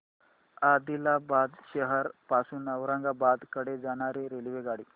आदिलाबाद शहर पासून औरंगाबाद कडे जाणारी रेल्वेगाडी